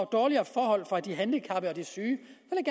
dårligere forhold for de handicappede og de syge